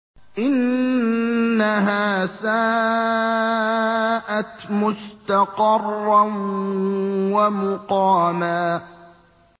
إِنَّهَا سَاءَتْ مُسْتَقَرًّا وَمُقَامًا